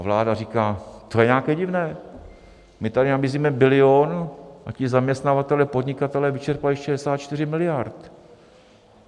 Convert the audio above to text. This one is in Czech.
A vláda říká: To je nějaké divné, my tady nabízíme bilion, a ti zaměstnavatelé, podnikatelé vyčerpají 64 miliard.